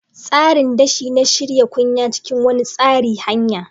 Tsarin dashi na-shirya kunya cikin wani tsari hanya.